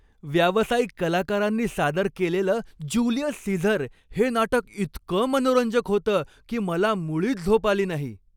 व्यावसायिक कलाकारांनी सादर केलेलं ज्युलियस सीझर हे नाटक इतकं मनोरंजक होतं की मला मुळीच झोप आली नाही.